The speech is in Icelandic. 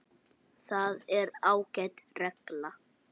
Það er ágæt regla.